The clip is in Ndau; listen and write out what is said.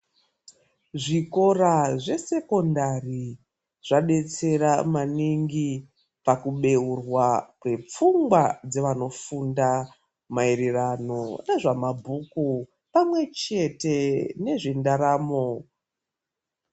Zvikora zvesekondari zvadetsera maningi pakubheurwa kwepfungwa dzevanofunda maererano ngezvemabhuku pamwechete nezventaramo.